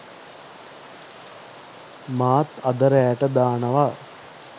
මාත් අද රෑට දානවා